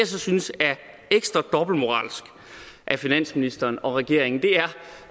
så synes er ekstra dobbeltmoralsk af finansministeren og regeringen